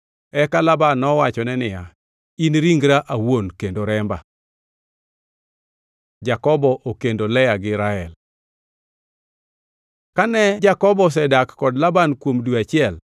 Eka Laban nowachone niya, “In ringra awuon kendo remba.” Jakobo okendo Lea gi Rael Kane Jakobo ne osedak kod Laban kuom dwe achiel,